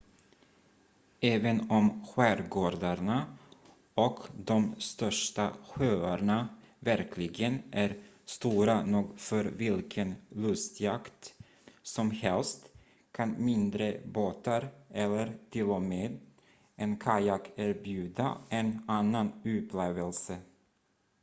även om skärgårdarna och de största sjöarna verkligen är stora nog för vilken lustjakt som helst kan mindre båtar eller t.o.m. en kajak erbjuda en annan upplevelse